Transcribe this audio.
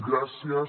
gràcies